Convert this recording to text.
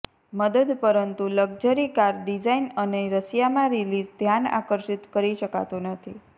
મદદ પરંતુ luxury car design અને રશિયામાં રિલીઝ ધ્યાન આકર્ષિત કરી શકાતું નથી